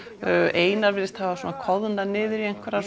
einar virðist hafa koðnað niður í einhverja